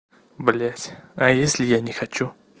блять а если я не хочу